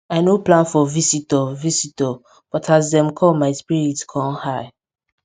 i nor plan for visitor visitor but as dem come my spirit com high